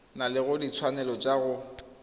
na le ditshwanelo tsa go